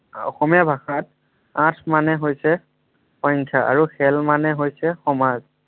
অসমীয়া ভাষাত আঠ মানে হৈছে সংখ্য আৰু খেল মানে হৈছে সমাজ।